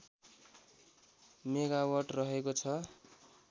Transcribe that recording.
megawatt रहेको छ